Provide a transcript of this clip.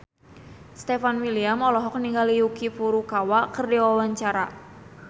Stefan William olohok ningali Yuki Furukawa keur diwawancara